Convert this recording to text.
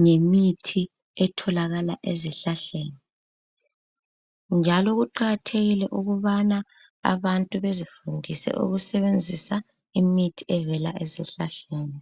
ngemithi etholakala ezihlahleni njalo kuqakathekile ukubana abantu bazifundise ukusebenzisa imithi evela ezihlahleni.